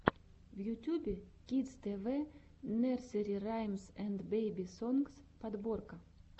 в ютюбе кидс тэ вэ нерсери раймс энд бэби сонгс подборка